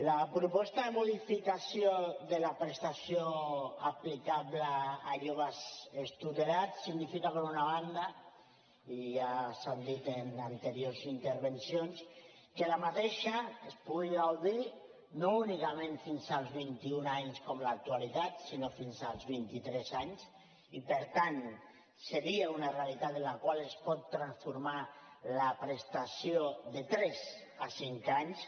la proposta de modificació de la prestació aplicable a joves extutelats significa per una banda i ja s’ha dit en anteriors intervencions que d’aquesta se’n pugui gaudir no únicament fins als vint i un anys com en l’actualitat sinó fins als vint i tres anys i per tant seria una realitat amb la qual es pot transformar la prestació de tres a cinc anys